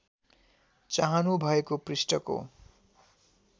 चाहनु भएको पृष्ठको